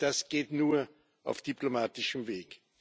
Und das geht nur auf diplomatischem Weg.